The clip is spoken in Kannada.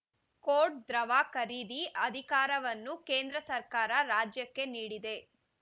ಕೋಟ್‌ ದ್ರವ ಖರೀದಿ ಅಧಿಕಾರವನ್ನು ಕೇಂದ್ರ ಸರ್ಕಾರ ರಾಜ್ಯಕ್ಕೆ ನೀಡಿದೆ